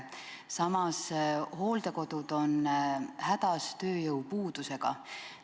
Samas, hooldekodud on hädas tööjõupuudusega.